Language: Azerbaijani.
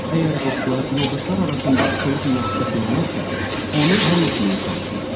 Əgər dostlar, yoldaşlar arasında soyuq münasibət yaranarsa, onu həll etməyə çalışın.